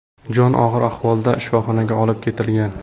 Jon og‘ir ahvolda shifoxonaga olib ketilgan.